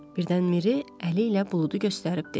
Birdən Miri əli ilə buludu göstərib dedi.